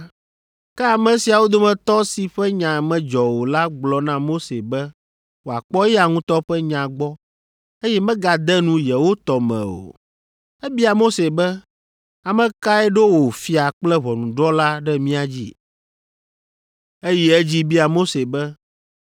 “Ke ame siawo dometɔ si ƒe nya medzɔ o la gblɔ na Mose be wòakpɔ eya ŋutɔ ƒe nya gbɔ eye megade nu yewo tɔ me o. Ebia Mose be, ‘Ame kae ɖo wò fia kple ʋɔnudrɔ̃la ɖe mía dzi?’ Eyi edzi bia Mose be,